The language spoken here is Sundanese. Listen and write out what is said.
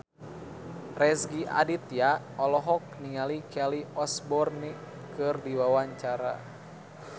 Rezky Aditya olohok ningali Kelly Osbourne keur diwawancara